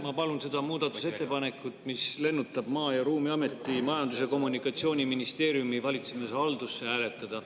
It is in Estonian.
Ma palun seda muudatusettepanekut, mis lennutab Maa- ja Ruumiameti Majandus- ja Kommunikatsiooniministeeriumi valitsemishaldusse, hääletada.